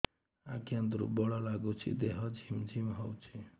ଆଜ୍ଞା ଦୁର୍ବଳ ଲାଗୁଚି ଦେହ ଝିମଝିମ ହଉଛି